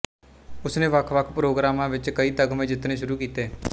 ਉਸਨੇ ਵੱਖ ਵੱਖ ਪ੍ਰੋਗਰਾਮਾਂ ਵਿੱਚ ਕਈ ਤਗਮੇ ਜਿੱਤਣੇ ਸ਼ੁਰੂ ਕੀਤੇ